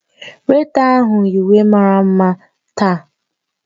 Weịta ahụ yi uwe mara mma taa